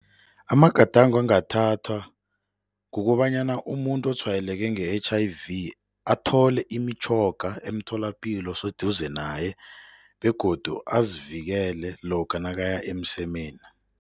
Amagadango angathathwa kukobanyana umuntu otshwayeleke nge-H_I_V athole imitjhoga emtholapilo oseduze naye begodu azivikele lokha nakaya emsemeni.